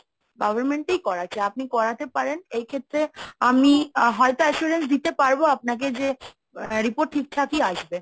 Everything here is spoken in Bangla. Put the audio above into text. government এই করাচ্ছে আপনি করাতে পারেন এই ক্ষেত্রে আমি হয়তো assurance দিতে পারবো আপনাকে যে আহ report ঠিকঠাকই আসবে।